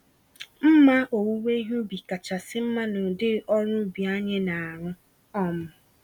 Mma owuwe ihe ubi kachasị mma n'ụdị ọrụ ubi nke anyị narụ. um